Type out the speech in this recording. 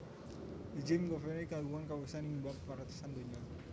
Jim Geovedi kagungan kawasisan ing bab paretasan donya